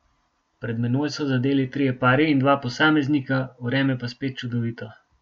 Pred menoj so zadeli trije pari in dva posameznika, vreme pa spet čudovito.